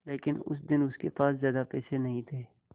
लेकिन उस दिन उसके पास ज्यादा पैसे नहीं थे